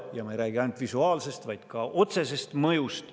Ja ma ei räägi ainult visuaalsest, vaid ka otsesest mõjust.